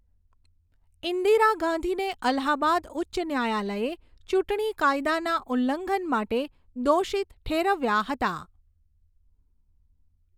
ઈંદિરા ગાંધીને અલ્હાબાદ ઉચ્ચ ન્યાયાલયે ચૂંટણી કાયદાના ઉલ્લંઘન માટે દોષિત ઠેરવ્યાં હતાં.